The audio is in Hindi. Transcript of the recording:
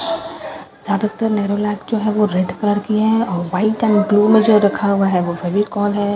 ज्यादातर नेरोलाइक जो है वो रेड कलर की है और वाइट एंड ब्‍लू में जो रखा हुआ है वो फेविकोल है।